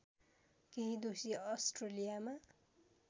केही दोषी अस्ट्रेलियामा